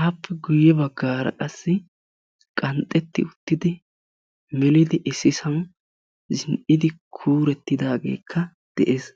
aappe guyessara ganxxetidi issippe kuuretidagekka beetessi.